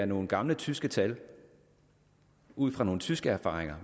nogle gamle tyske tal ud fra nogle tyske erfaringer